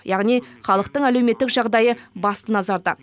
яғни халықтың әлеуметтік жағдайы басты назарда